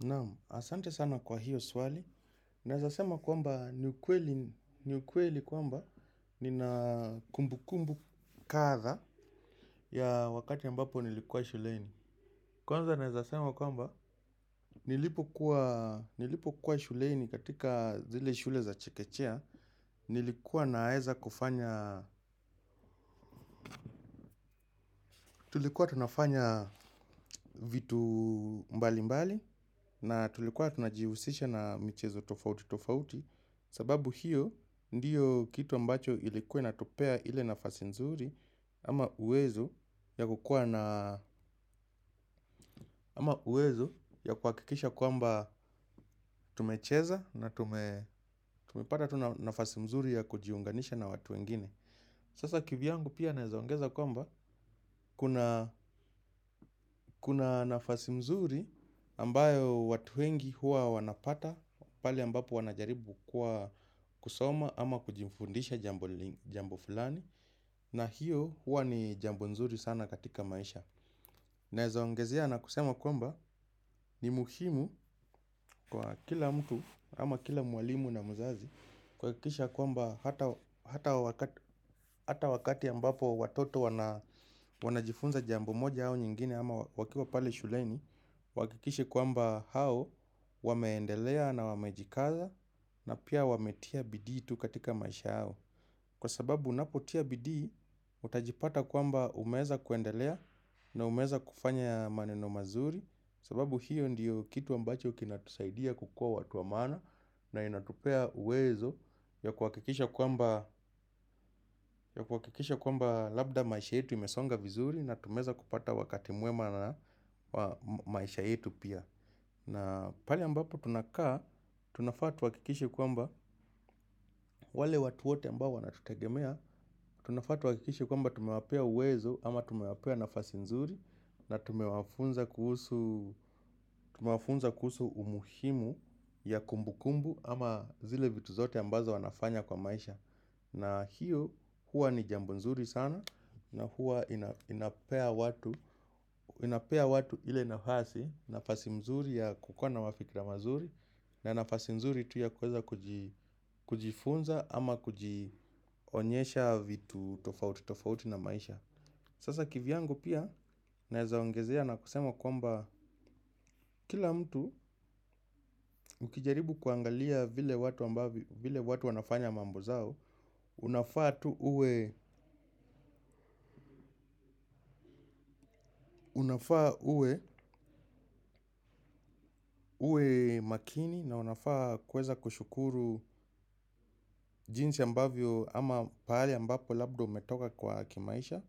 Naamu, asante sana kwa hiyo swali. Naeza sema kwamba ni ukweli kwamba nina kumbu kumbu katha ya wakati ambapo nilikuwa shuleini. Kwanza naezasema kwamba nilipo kuwa shuleni katika zile shule za chekechea. Nilikuwa naeza kufanya, tulikuwa tunafanya vitu mbali mbali na tulikuwa tunajihusisha na michezo tofauti tofauti. Sababu hiyo ndiyo kitu ambacho ilikuwa inatupea ile nafasi mzuri ama uwezo ya kuakikisha kuamba tumecheza na tumepata nafasi mzuri ya kujiunganisha na watu wengine. Sasa kivyangu pia naezongeza kuamba kuna nafasi mzuri ambayo watu wengi huwa wanapata pale ambapo wanajaribu kwa kusoma ama kujifundisha jambo fulani. Na hiyo hua ni jambu nzuri sana katika maisha. Naeza ongezea na kusema kwamba ni muhimu kwa kila mtu ama kila mwalimu na muzazi kwakikisha kwamba hata wakati ambapo watoto wanajifunza jambo moja hao nyingine ama wakiwa pale shuleni wakikishe kwamba hao wameendelea na wamejikaza na pia wametia bidi tu katika maisha yao. Kwa sababu unapotia bidi, utajipata kwamba umeza kuendelea na umeza kufanya maneno mazuri. Kwa sababu hiyo ndiyo kitu ambacho kinatusaidia kukua watu wa mana. Na inatupea uwezo ya kuwakikisha kwamba labda maisha yetu imesonga vizuri. Na tumeza kupata wakati muema na maisha yetu pia. Na pali ambapo tunakaa, tunafa tuwakikishe kwamba wale watu wote ambao wana tutegemea. Tunafa tuwakikishe kwamba tumewapea uwezo ama tumewapea nafasi nzuri na tumewafunza kuhusu umuhimu ya kumbukumbu ama zile vitu zote ambazo wanafanya kwa maisha. Na hiyo huwa ni jambo nzuri sana na huwa inapea watu ile nafasi nafasi mzuri ya kukuwa na mafikira mazuri na nafasi mzuri tu ya kuweza kujifunza ama kujionyesha vitu tofauti na maisha. Sasa kivyangu pia naezaongezea na kusema kwamba kila mtu ukijaribu kuangalia vile watu wanafanya mambo zao. Unafaa uwe makini na unafaa kweza kushukuru jinsi ambavyo ama paali ambapo labda umetoka kwa kimaisha